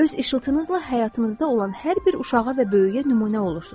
Öz işıltınızla həyatınızda olan hər bir uşağa və böyüyə nümunə olursunuz.